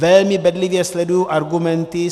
Velmi bedlivě sleduji argumenty.